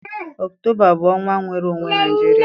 Ọktoba bụ ọnwa nnwere onwe Naijiria.